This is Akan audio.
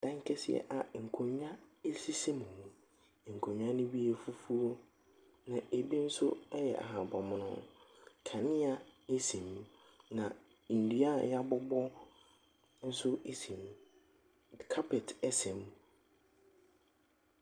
Dan kɛseɛ a nkonnwa sisi mu. Nkonnwa no bi yɛ fufuo, na ɛbi nso yɛ ahabammono. Kanea si mu, na nnua a wɔabobɔ nso si mu. Carpet sɛ mu.